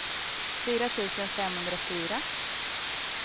fyra tusen femhundrafyra